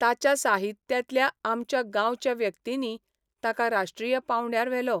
ताच्या साहित्यांतल्या आमच्या गांवच्या व्यक्तींनी ताका राष्ट्रीय पावंडयार व्हेलो.